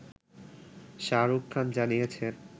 শাহরুখ খান জানিয়েছেন